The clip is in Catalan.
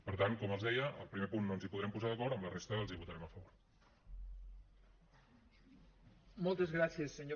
per tant com els deia al primer punt no ens hi podrem posar d’acord en la resta els hi votarem a favor